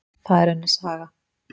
Það er önnur saga.